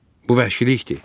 Bu vəhşilikdir.